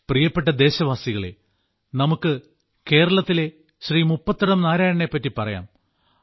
പ്രിയപ്പെട്ട ദേശവാസികളെ നമുക്ക് കേരളത്തിലെ ശ്രീ മുപ്പത്തടം നാരായണനെപ്പറ്റി പറയാം